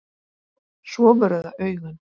Svo voru það augun.